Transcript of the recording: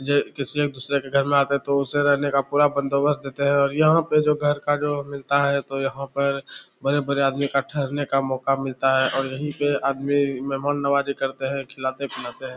ये किसी दूसरे के घर में आते हैं तो रहने का पूरा बंदोबस्त देते हैं और यहां पे जो घर का जो मिलता है तो यहां पर बड़े-बड़े आदमी का ठहरने का मौका मिलता है और यही पर आदमी मेहमान नमाजी करते हैं खिलाते हैं पिलाते हैं।